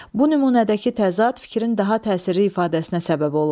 Bu nümunədəki təzad fikrin daha təsirli ifadəsinə səbəb olub.